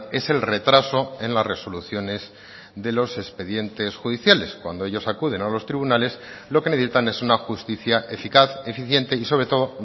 es el retraso en las resoluciones de los expedientes judiciales cuando ellos acuden a los tribunales lo que necesitan es una justicia eficaz eficiente y sobre todo